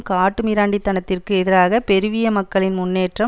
காட்டுமிராண்டித்தனத்திற்கு எதிராக பெருவிய மக்களின் முன்னேற்றம்